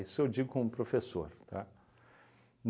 eu digo como professor, tá?